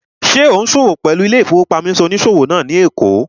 Ṣé ò ún ṣòwò pẹ̀lú ilé-ìfowópamọ́sí onísòwò náà ní èkó?